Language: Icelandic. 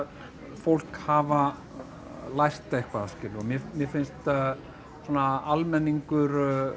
fólk hafa lært eitthvað skilurðu og mér finnst svona almenningur